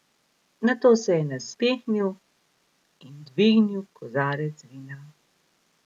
Nato se je nasmehnil in dvignil kozarec vina.